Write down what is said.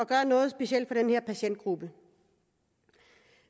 gøre noget specielt for den her patientgruppe